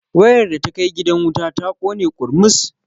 Wayar da ta kai gidan wuta ta ƙone ƙurmus.